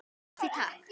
Kaffi, Takk!